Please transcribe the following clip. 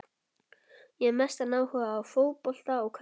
Ég hef mestan áhuga á fótbolta og körfubolta.